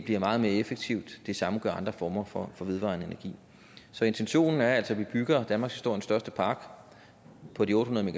bliver meget mere effektiv det samme gør andre former for vedvarende energi så intentionen er altså at vi bygger danmarkshistoriens største park på de otte hundrede